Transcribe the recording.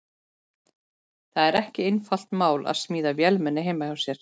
Það er ekki einfalt mál að smíða vélmenni heima hjá sér.